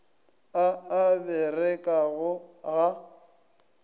a a a berekago ga